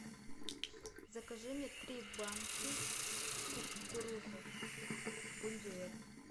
закажи мне три банки кукурузы бондюэль